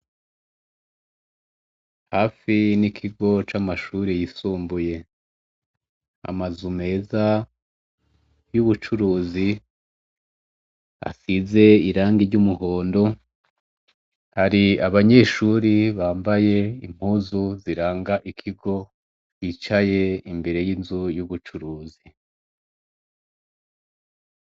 Hafi nikigo c'amashure yisumbuye, amazu meza y'ubucuruzi asize irangi ry'umuhondo , hari abanyeshure Bambaye impuzu ziranga ikigo bicaye imbere yinzu yubucuruzi.